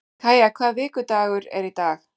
Kaía, hvaða vikudagur er í dag?